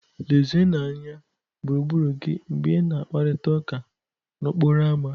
Lezienụ anya gburugburu gị mgbe ị na-akparịta ụka n'okporo ámá.